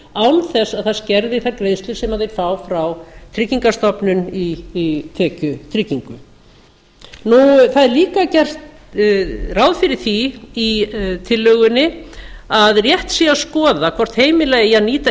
án þess að það skerði þær greiðslur sem þeir fá frá tryggingastofnun í tekjutryggingu það er líka gert ráð fyrir því í tillögunni að rétt sé að skoða hvort heimila eigi að